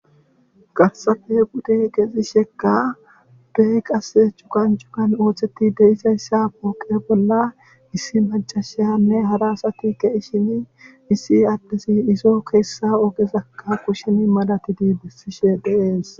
Garsafe gude gexi shekka duhe qase cukan cukan ootheti deisayssa pooqe bolla issi macasheanne harasati ke ishini issi addesi isoo keessa ogesakka kushen madati diibessishe dheees